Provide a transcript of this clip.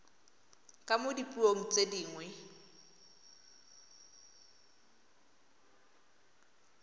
ka mo dipuong tse dingwe